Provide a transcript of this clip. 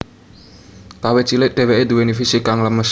Kawit cilik dheweke duweni fisik kang lemes